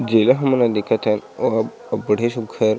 जेला हमन ह देखत हन ओहा अब्बड़े सुघ्घर --